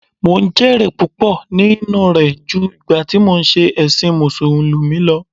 Mò ń jẹ èrè púpọ̀ nínú rẹ̀ ju ìgbà tí mò ń ṣe ẹ̀sìn musulumi lọ